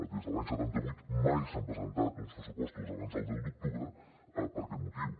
des de l’any setanta vuit mai s’han presentat uns pressupostos abans del deu d’octubre per aquest motiu